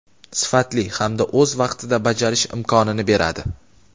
sifatli hamda o‘z vaqtida bajarish imkonini beradi.